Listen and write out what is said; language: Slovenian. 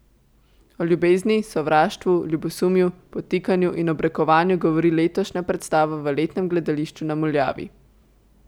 O ljubezni, sovraštvu, ljubosumju, podtikanju in obrekovanju govori letošnja predstava v letnem gledališču na Muljavi.